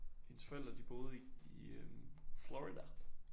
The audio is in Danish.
Hendes forældre de boede i øh Florida